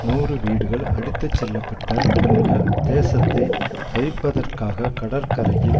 நூறு வீடுகள் அடித்து செல்பப்பட்ட பின்னர் சேதத்தை தவிர்ப்பதற்காக கடற்கரையில்